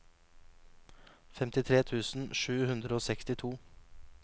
femtitre tusen sju hundre og sekstito